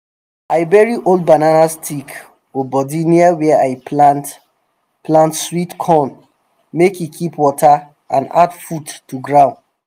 i bury old banana stick or body near where i plant plant sweet corn make e keep water and add food to ground